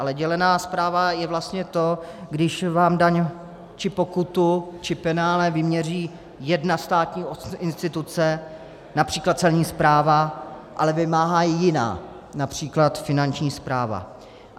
Ale dělená správa je vlastně to, když vám daň či pokutu či penále vyměří jedna státní instituce, například Celní správa, ale vymáhá ji jiná, například Finanční správa.